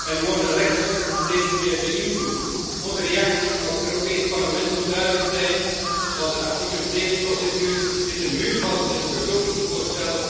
en worden rechters steeds meer beïnvloed. Onze reactie als Europees Parlement moet duidelijk zijn, want de artikel 7 procedures zitten muurvast en het begrotingsvoorstel